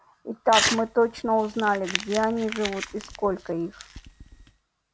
и так мы точно узнали где они живут и сколько их